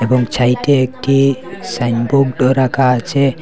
বাম ছাইটে একটি সাইনবোর্ড রাখা আছে।